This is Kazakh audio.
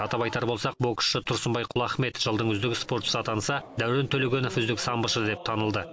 атап айтар болсақ боксшы тұрсынбай құлахмет жылдың үздік спортшысы атанса дәурен төлегенов үздік самбошы деп танылды